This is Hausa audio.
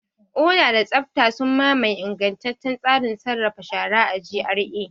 Oda da tsabta sun mamaye ingantaccen tsarin sarrafa shara a GRA.